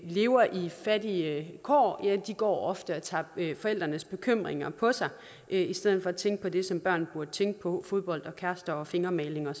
lever i fattige kår går ofte og tager forældrenes bekymringer på sig i stedet for at tænke på det som børn burde tænke på fodbold kærester fingermaling og